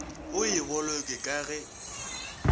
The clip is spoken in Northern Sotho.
o e boloke ka ge